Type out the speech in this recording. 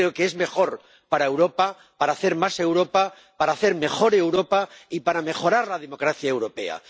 Creo que es mejor para Europa, para hacer más Europa, para hacer mejor Europa y para mejorar la democracia europea.